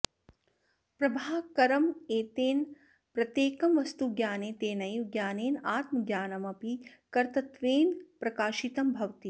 प्रभाकरमतेन प्रत्येकं वस्तुज्ञाने तेनैव ज्ञानेन आत्मज्ञानमपि कर्तृत्वेन प्रकाशितं भवति